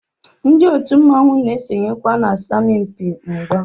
Ndi otu mmanwu na esonyekwa na asọmpi mgba.